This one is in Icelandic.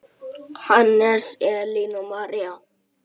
Hannes, Elín og María.